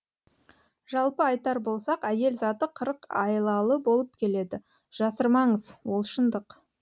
жалпы айтар болсақ әйел заты қырық айлалы болып келеді жасырмаңыз ол шындық